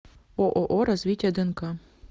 ооо развитие днк